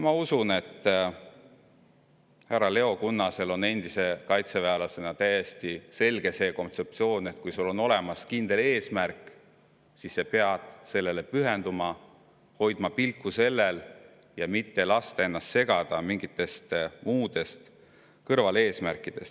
Ma usun, et härra Leo Kunnasel endise kaitseväelasena on see kontseptsioon täiesti selge: kui sul on olemas kindel eesmärk, siis sa pead sellele pühenduma, hoidma pilku sellel ja mitte laskma ennast segada mingitest muudest, kõrvaleesmärkidest.